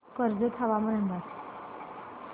कर्जत हवामान अंदाज